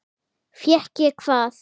Fékk ég hvað?